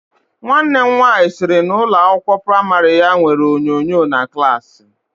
Nwanne m nwaanyị sịrị na ụlọ akwụkwọ praimari ya nwere onyonyo na klaasị.